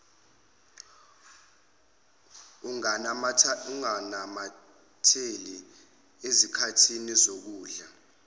unganamatheli ezikhathini zokudla